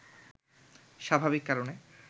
স্বাভাবিক কারণে